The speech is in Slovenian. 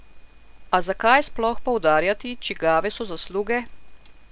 A zakaj sploh poudarjati, čigave so zasluge?